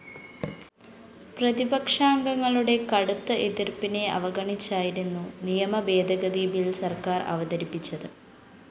പ്രതിപക്ഷാംഗങ്ങളുടെ കടുത്ത എതിര്‍പ്പിനെ അവഗണിച്ചായിരുന്നു നിയമഭേദഗതി ബിൽ സര്‍ക്കാര്‍ അവതരിപ്പിച്ചത്